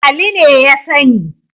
Ali ne ya sani.